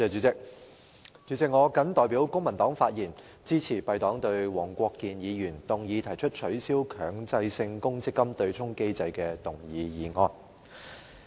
主席，我謹代表公民黨發言，支持黃國健議員動議的"取消強制性公積金對沖機制"議案。